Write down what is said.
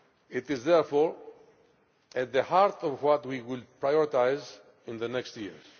It is therefore at the heart of what we will prioritise in the coming years.